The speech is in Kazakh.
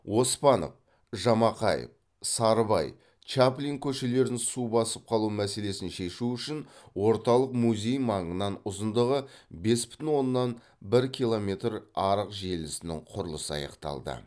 оспанов жамақаев сарыбай чаплин көшелерін су басып қалу мәселесін шешу үшін орталық музей маңынан ұзындығы бес бүтін оннан бір километр арық желісінің құрылысы аяқталды